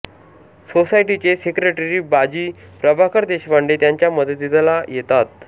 सोसायटीचे सेक्रेटरी बाजी प्रभाकर देशपांडे त्यांच्या मदतीला येतात